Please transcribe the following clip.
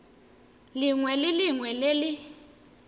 lengwe le lengwe le le